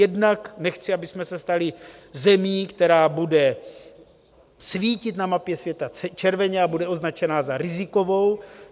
Jednak nechci, abychom se stali zemí, která bude svítit na mapě světa červeně a bude označena za rizikovou.